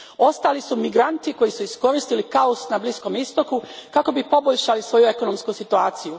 Ostali su migranti koji su iskoristili kaos na Bliskom istoku kako bi poboljšali svoju ekonomsku situaciju.